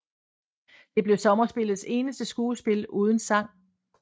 Det blev sommerspillets eneste skuespil uden sang